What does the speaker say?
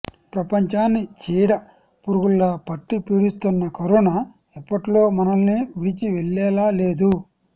ప్రపంచాన్ని చీడ పురుగులా పట్టి పీడిస్తోన్న కరోనా ఇప్పట్లో మనల్ని విడిచివెళ్లేలా లేదు